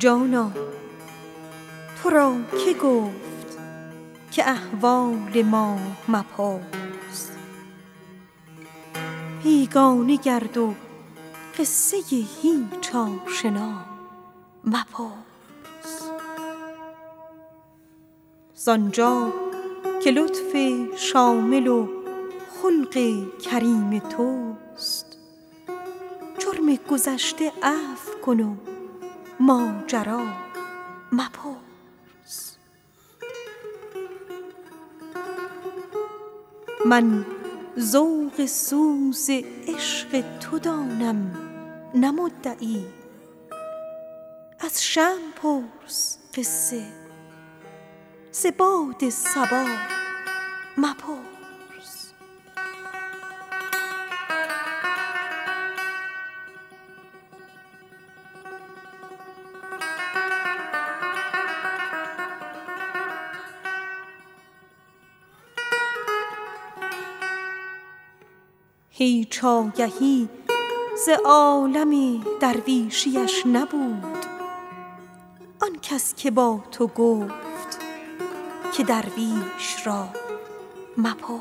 جانا تو را که گفت که احوال ما مپرس بیگانه گرد و قصه هیچ آشنا مپرس ز آنجا که لطف شامل و خلق کریم توست جرم نکرده عفو کن و ماجرا مپرس خواهی که روشنت شود اسرار درد عشق از شمع پرس قصه ز باد هوا مپرس من ذوق سوز عشق تو دانم نه مدعی آنکس که با تو گفت که درویش را مپرس هیچ آگهی ز عالم درویشیش نبود آن کس که با تو گفت که درویش را مپرس